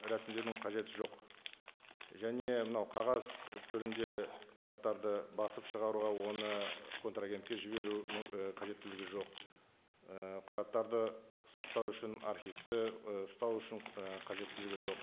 рәсімдеудің қажеті жоқ және мынау қағаз түрінде құжаттарды басып шығаруға оны контрагентке жіберу і қажеттілігі жоқ ы құжаттарды сақтау үшін архивті і ұстау үшін і қажеттілігі жоқ